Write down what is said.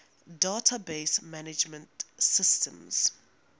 database management systems